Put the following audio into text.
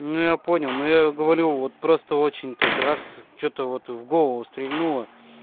ну я понял но я говорю вот просто очень так раз что-то вот в голову стрельнуло